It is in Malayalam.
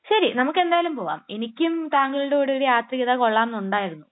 ശരി. നമുക്ക് എന്തായാലും പോകാം. എനിക്കും താങ്കളുടെ കൂടെ ഒരു യാത്ര ചെയ്താൽ കൊള്ളാം എന്നുണ്ടായിരുന്നു.